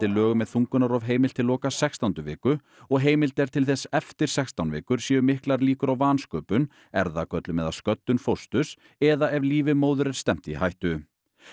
lögum er þungunarrof heimilt til loka sextándu viku og heimild er til þess eftir sextán vikur séu miklar líkur á vansköpun erfðagöllum eða sköddun fósturs eða ef lífi móður er stefnt í hættu